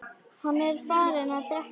Hann er farinn að drekka!